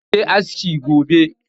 Ma je askin gobe